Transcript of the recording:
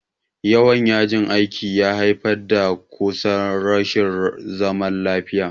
Yawan yajin aikin ya haifar da kusan rashin zaman lafiya.